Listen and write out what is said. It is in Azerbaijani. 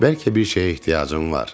Bəlkə bir şeyə ehtiyacın var.